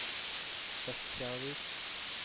Bekkjarvik